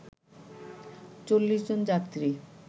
৪০ জন যাত্রী